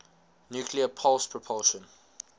nuclear pulse propulsion